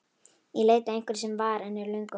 Í leit að einhverju sem var, en er löngu horfið.